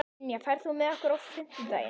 Ynja, ferð þú með okkur á fimmtudaginn?